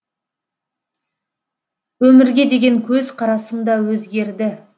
өмірге деген көзқарасым да өзгерді